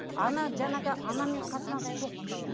ана жаңағы анамен қатынас жоқ